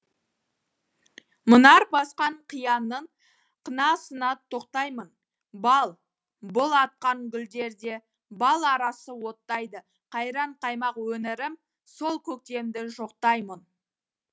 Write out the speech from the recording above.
мұнар басқан қияңның қынасына тоқтаймын бал бұл атқан гүлдерде бал арасы оттайды қайран қаймақ өңірім сол көктемді жоқтаймын